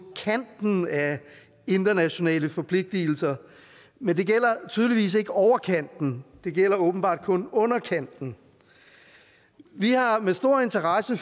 kanten af internationale forpligtelser men det gælder tydeligvis ikke overkanten det gælder åbenbart kun underkanten vi har med stor interesse